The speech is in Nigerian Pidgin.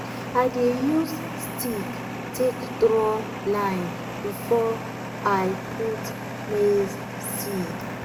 i dey use stick take draw line before i put maize seed.